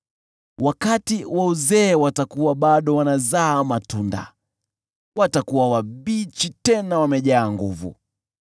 Wakati wa uzee watakuwa bado wanazaa matunda, watakuwa wabichi tena wamejaa nguvu,